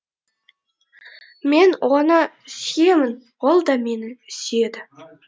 мен оны сүйемін ол да мені сүйеді